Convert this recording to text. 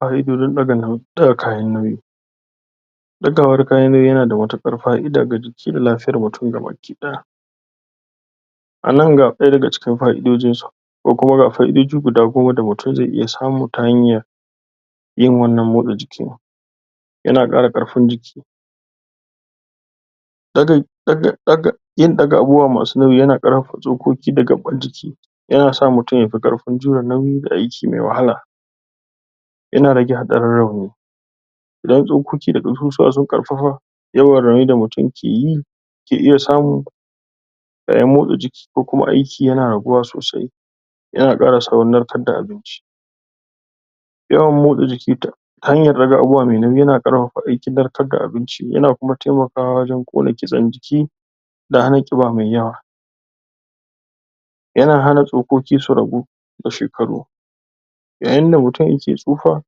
Fa'idojin ɗaga kayan nauyi, ɗagawar kayan nauyi ya na da matukar fa'ida ga lafiyar mutum ga baki ɗaya. Anan ga ɗaya daga cikin fa'idojin su ko kuma ga fa'idoji guda goma da mutum ze iya samu ta hanyar yin wannan motsa jikin. Ya na ƙara ƙarfin jiki yin ɗaga abubuwa masu nauyi ya na ƙarfafa tsokoki da gabban jiki, ya na sa mutum yafi ƙarfin jirannan da aiki mai wahala, ya na rage hatsarin rauni, idan tsokoki da ƙasusuwa sun ƙarfafa yawan rauni da mutum ke iya samu yaayin motsa jiki ko kuma aiki ya na raguwa sosai, ya na haɗuwa da saurin narkar da abinci, yawan motsa jiki ta hanyar ɗaga abubuwa mai nauyi ya na ƙarfafa aikin narkarda abinci, ya na kuma taimakawa wajan ƙona ƙitsan jiki da hana ƙiba mai yawa, ya na hana tsokoki su ragu da shekaru yaayinda mutum yake tsufa,